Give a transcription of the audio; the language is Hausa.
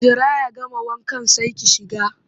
Jira ya gama wankan sai ki shiga!